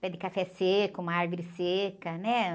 Pé de café seco, uma árvore seca, né?